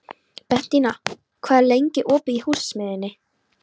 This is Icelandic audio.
Bentína, hvað er lengi opið í Húsasmiðjunni?